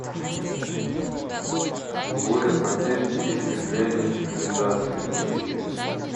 буря потерь истребление цивилизации включи